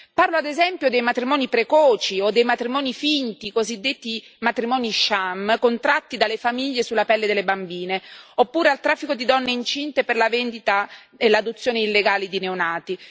Parlo, ad esempio, dei matrimoni precoci o dei matrimoni finti, i cosiddetti matrimoni sham contratti dalle famiglie sulla pelle delle bambine, oppure del traffico di donne incinte per la vendita e l'adozione illegale di neonati.